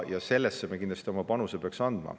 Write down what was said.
Ja sellesse me peaksime kindlasti oma panuse andma.